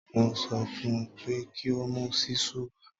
Mo sọ fún un ẹ pé kí mu ṣíṣù wa